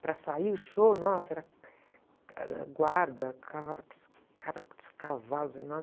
Para sair o show, nossa, era, era guarda, cara, cavalos enormes.